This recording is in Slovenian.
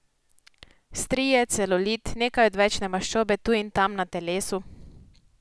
Strije, celulit, nekaj odvečne maščobe tu in tam na telesu ...